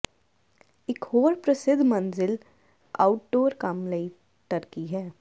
ਇਕ ਹੋਰ ਪ੍ਰਸਿੱਧ ਮੰਜ਼ਿਲ ਆਊਟਡੋਰ ਕੰਮ ਲਈ ਟਰਕੀ ਹੈ